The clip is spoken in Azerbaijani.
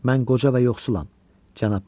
Mən qoca və yoxsulam, cənab Mays.